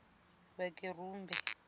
vhakerumbe